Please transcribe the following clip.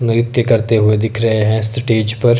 नृत्य करते हुए दिख रहे हैं स्टेज पर।